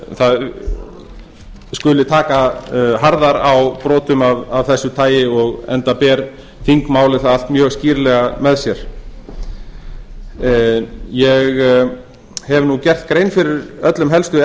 það skuli taka harðar á brotum af þessu tagi enda ber þingmálið það allt mjög skýrlega með sér ég hef gert grein fyrir öllum helstu